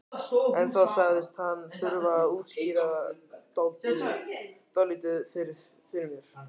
En þá sagðist hún þurfa að útskýra dálítið fyrir mér.